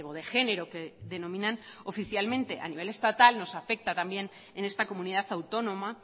de género que denominan oficialmente a nivel estatal nos afecta también en esta comunidad autónoma